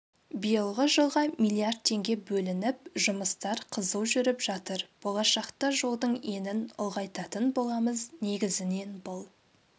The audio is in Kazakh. биылғы жылға миллиард теңге бөлініп жұмыстар қызу жүріп жатыр болашақта жолдың енін ұлғайтатын боламыз негізінен бұл